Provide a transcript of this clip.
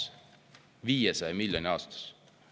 Üle 500 miljoni aastas!